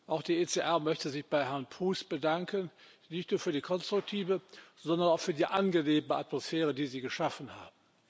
Auch die ECR möchte sich bei Herrn Proust bedanken, nicht nur für die konstruktive, sondern auch für die angenehme Atmosphäre, die Sie geschaffen haben.